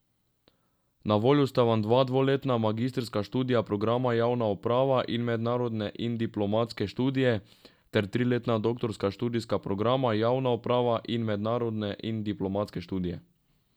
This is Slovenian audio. Na voljo sta vam dvoletna magistrska študijska programa Javna uprava in Mednarodne in diplomatske študije ter triletna doktorska študijska programa Javna uprava in Mednarodne in diplomatske študije.